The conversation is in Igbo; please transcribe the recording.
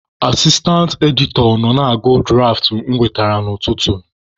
Asistantị editọ nọ na-agụ dụraft e wetere ya n'ụtụtụ.